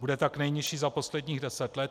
Bude tak nejnižší za posledních 10 let.